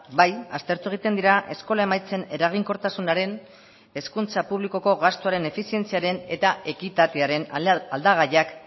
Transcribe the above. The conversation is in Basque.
bai aztertu egiten dira eskola emaitzen eraginkortasunaren hezkuntza publikoko gastuaren efizientziaren eta ekitatearen aldagaiak